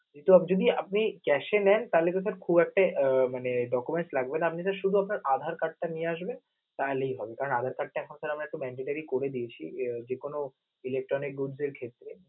এটা যদি আপনি cash এ নেন, তাহলে কিন্তু sir খুব একটা আহ মানে document লাগবে না. আপনি just শুধু আধার card টা নিয়ে আসেন তাহলেই হবে কারণ আমরা আধার card টা এখন mandatory করে দিয়েছি, আহ যে কোনো electronic দ্রব্যের ক্ষেত্রে